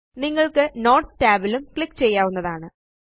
നിങ്ങള്ക്ക് notes tab ലും click ചെയ്യാവുന്നതാണ്